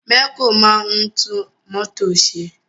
Mẹ̀kó máa ń tún mọ́tò ṣe.